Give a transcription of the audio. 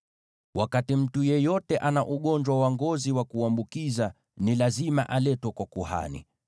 “Wakati mtu yeyote ana ugonjwa wa ngozi wa kuambukiza, ni lazima aletwe kwa kuhani.